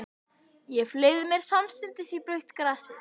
Ég fleygði mér samstundis í blautt grasið.